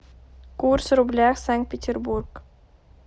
курс рубля санкт петербург